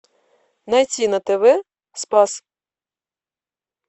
найти на тв спас